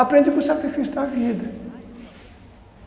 aprende com o sacrifício da vida.